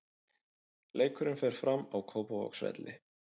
Leikurinn fer fram á Kópavogsvelli.